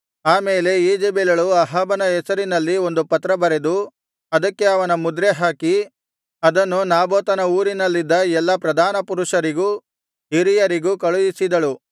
ಆಮೇಲೆ ಈಜೆಬೆಲಳು ಅಹಾಬನ ಹೆಸರಿನಲ್ಲಿ ಒಂದು ಪತ್ರ ಬರೆದು ಅದಕ್ಕೆ ಅವನ ಮುದ್ರೆ ಹಾಕಿ ಅದನ್ನು ನಾಬೋತನ ಊರಿನಲ್ಲಿದ್ದ ಎಲ್ಲಾ ಪ್ರಧಾನ ಪುರುಷರಿಗೂ ಹಿರಿಯರಿಗೂ ಕಳುಹಿಸಿದಳು